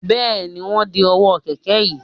Bẹ́ẹ̀ni, wọ́n ń de ọwọ́ kẹ̀kẹ́ yín